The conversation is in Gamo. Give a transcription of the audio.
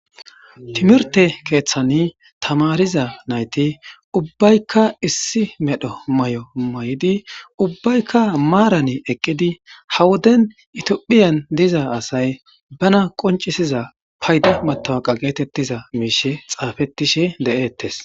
Timirte keeththani tamariza nayti ubbaykka issi medho may7o may7idi ubbaykka maaran eqqidi hawoden itophiyan diza asay bana qoncisiza payda matawaqa geetettiza miishe xaafetishe de7eettes.